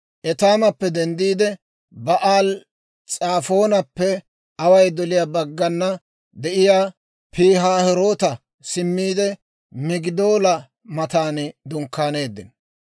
Etaamappe denddiide, Ba'aali-S'afoonappe away doliyaa baggana de'iyaa Pihaahiroota simmiide, Migidoola matan dunkkaaneeddino.